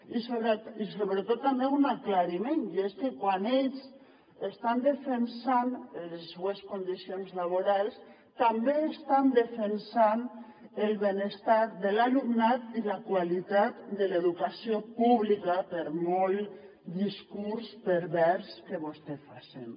i sobretot també un aclariment i és que quan ells estan defensant les seues condicions laborals també estan defensant el benestar de l’alumnat i la qualitat de l’educació pública per molt discurs pervers que vostè facin